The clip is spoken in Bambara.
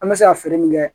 An bɛ se ka feere min kɛ